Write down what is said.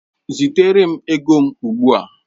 Zitere m ego m ugbu a!